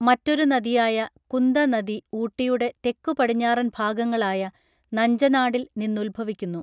മറ്റൊരു നദിയായ കുന്ദ നദി ഊട്ടിയുടെ തെക്കു പടിഞ്ഞാറൻ ഭാഗങ്ങളായ നഞ്ചനാടിൽ നിന്നുത്ഭവിക്കുന്നു